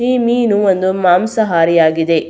ಈ ಮೀನು ಒಂದು ಮಾಂಸಾಹಾರಿ ಆಗಿದೆ.